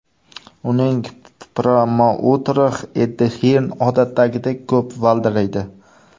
Uning promouteri Eddi Hirn odatdagidek ko‘p valdiraydi.